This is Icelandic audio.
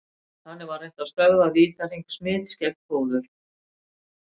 Þannig var reynt að stöðva vítahring smits gegnum fóður.